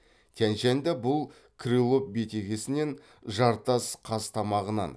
тянь шаньда бұл крылов бетегесінен жартас қазтамағынан